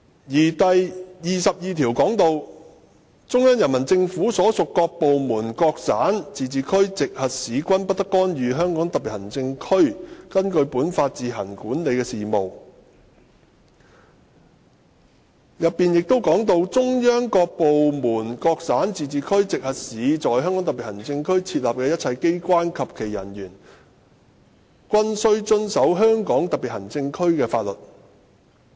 根據《基本法》第二十二條，"中央人民政府所屬各部門、各省、自治區、直轄市均不得干預香港特別行政區根據本法自行管理的事務......中央各部門、各省、自治區、直轄市在香港特別行政區設立的一切機關及其人員均須遵守香港特別行政區的法律"。